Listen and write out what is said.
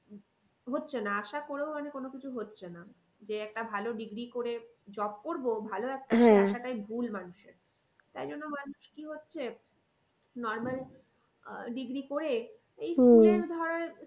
হচ্ছে না মানে আশা করেও মানে কোনো কিছু হচ্ছে না। যে একটা ভালো degree করে job করবো ভালো ভুল মানুষের। তাই জন্য মানুষ কি হচ্ছে normal আহ degree করে